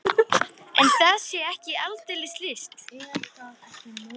En það sé ekki aldeilis list.